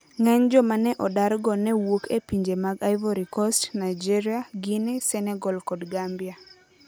Ng'eny joma ne odargo ne wuok e pinje mag Ivory Coast, Nigeria, Guinea, Senegal, kod Gambia.